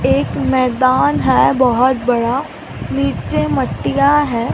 एक मैदान है बहोत बड़ा नीचे मट्टीयां है।